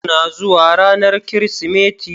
Kuna zuwa ranar Kirsimeti?